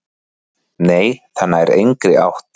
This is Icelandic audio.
"""Nei, það nær engri átt."""